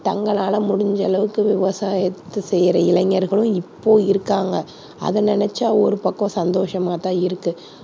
தங்களால முடிந்தளவுக்கு விவசாயத்தை செய்யற இளைஞர்களும் இப்போ இருக்காங்க. அதை நினைச்சா ஒரு பக்கம் சந்தோஷமா தான் இருக்கு.